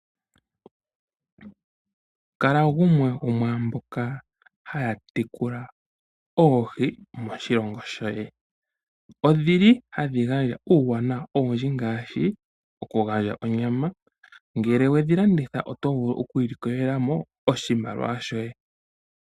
Kala gumwe gomwaamboka haya tekula oohi moshilongo shoye ohadhi gandja uuwanawa owundji ngaashi ngele wedhilanditha oto vulu okwiilikolela mo oshimaliwa shoye.